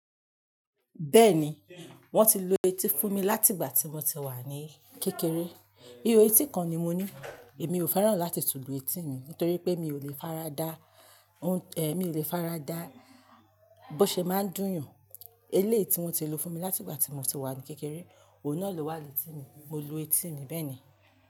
Bẹ́ẹ̀ ni, wọ́n ti lo etí fún mi láti ìgbà tí mo ti wà ní kékeré. Iho etí kan ni mo ní. Èmi ò fẹ́ràn láti tùlù etí mi nítorí pé mi ò lè faradà, ẹ, mi ò lè faradà bó ṣe máa ń dùnyàn. Eléétí wọ́n ti lo fún mi láti ìgbà tí mo ti wà ní kékeré, òun náà ló wà létí mi. Mo lu etí mi bẹ́ẹ̀ ni.